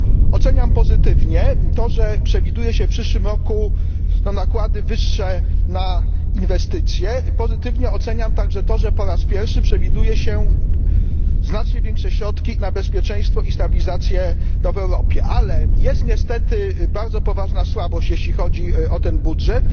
Oceniam pozytywnie to, że przewiduje się w przyszłym roku nakłady wyższe na inwestycje, pozytywnie oceniam także to, że po raz pierwszy przewiduje się znacznie większe środki na bezpieczeństwo i stabilizację w Europie. Ale jest niestety bardzo poważna słabość, jeśli chodzi o ten budżet.